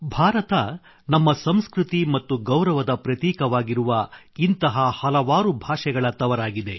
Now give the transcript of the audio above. ಭಾರತ ನಮ್ಮ ಸಂಸ್ಕೃತಿ ಮತ್ತು ಗೌರವದ ಪ್ರತೀಕವಾಗಿರುವ ಇಂಥ ಹಲವಾರು ಭಾಷೆಗಳ ತವರಾಗಿದೆ